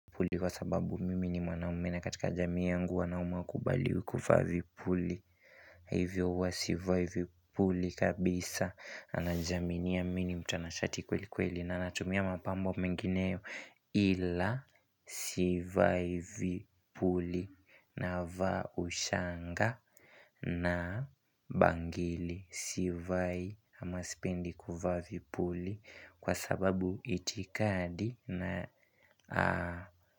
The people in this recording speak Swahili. Kwa sababu mimi ni mwanamme katika jamii yangu wanaume hawakubaliwi kuvaa vipuli na hivyo wa sivai vipuli kabisa na najaminia a mimi ni mtanashati kweli kweli na nanatumia mapambo mengineyo Ila sivai vipuli navaa ushanga na bangili sivai ama sipendi kuvaa vipuli kwa sababu itikadi na.